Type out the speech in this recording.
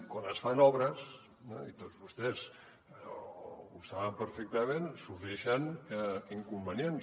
quan es fan obres i tots vostès ho saben perfectament sorgeixen inconvenients